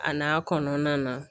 A n'a kɔnɔna na